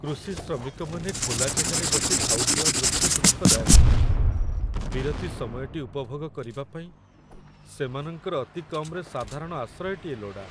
କୃଷି ଶ୍ରମିକମାନେ ଖୋଲା ଜାଗାରେ ବସି ଖାଉଥିବା ଦୃଶ୍ୟ ଦୁଃଖଦାୟକ। ବିରତି ସମୟଟି ଉପଭୋଗ କରିବା ପାଇଁ ସେମାନଙ୍କର ଅତି କମ୍‌ରେ ସାଧାରଣ ଆଶ୍ରୟଟିଏ ଲୋଡ଼ା।